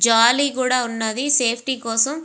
జాలి కూడా వున్నది సేఫ్టీ కోసం.